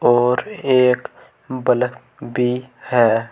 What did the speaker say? और एक बल्फ भी है।